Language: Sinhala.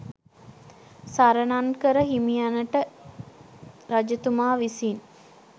සරණංකර හිමියන්ට රජතුමා විසින්